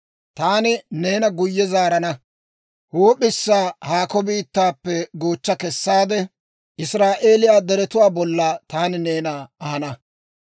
Taani neena guyye zaarana; huup'issa haakko biittaappe goochcha kessaade, Israa'eeliyaa deretuwaa bolla taani neena ahana.